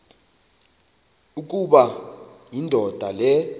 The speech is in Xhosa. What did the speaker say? ukuba indoda le